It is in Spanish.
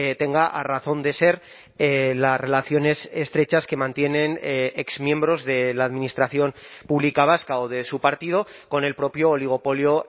tenga a razón de ser las relaciones estrechas que mantienen exmiembros de la administración pública vasca o de su partido con el propio oligopolio